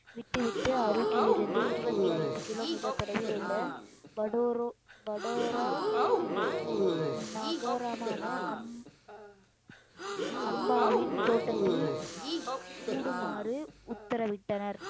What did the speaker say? விட்டு விட்டு அருகிலிருந்து இருபத்தி ஐந்து கிலோமீட்டர் தொலைவில் உள்ள படோரோ படோரா நகரமான அம்~ அம்பாவின் தோட்டத்தில் கூடுமாறு உத்தரவிட்டனர்